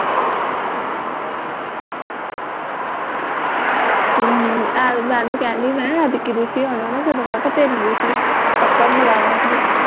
ਹਮ, ਐ ਤਾਂ ਮੈਂ ਓਨੁ ਕਹਿਣ ਡਈ ਮੈਂ ਕਿਹਾ ਐਤਕੀਂ ਦੁਸ਼ੀ ਆਉਣਾ ਨਾ ਜਦੋਂ ਮੈਂ ਕਿਹਾ ਤੈਨੂੰ ਦੂਸ਼ੀ ਨਾਲ਼ ਪੱਕਾ ਮਿਲਾਵਾਂਗੀ